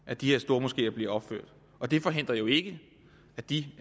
at de her stormoskeer bliver opført og det forhindrer jo ikke at de